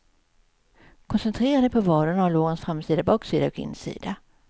Koncentrera dig på vaderna och lårens framsida, baksida och insida.